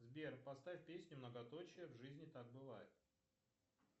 сбер поставь песню многоточие в жизни так бывает